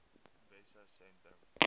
wessosentrum